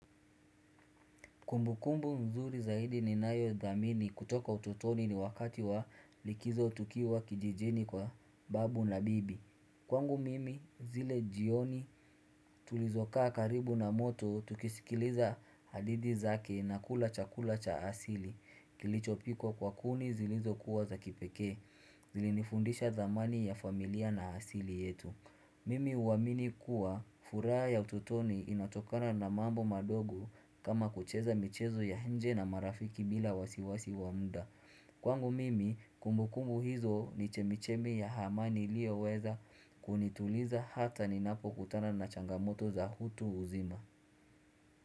Kumbukumbu nzuri zaidi ninayo dhamini kutoka ututoni ni wakati wa likizo tukiwa kijijini kwa babu na bibi. Kwangu mimi zile jioni tulizokaa karibu na moto, tukisikiliza hadithi zake na kula chakula cha asili. Kilichopikwa kwa kuni zilizokuwa za kipekee, zilinifundisha dhamani ya familia na asili yetu. Mimi huamini kuwa furaha ya ututoni inatokana na mambo madogo kama kucheza michezo ya nje na marafiki bila wasiwasi wa mda. Kwangu mimi kumbukumbu hizo ni chemichemi ya amani liyoweza kunituliza hata ninapokutana na changamoto za utu uzima.